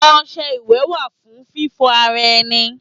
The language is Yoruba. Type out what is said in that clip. Ọṣẹ iwẹ wa fun fífò ara enì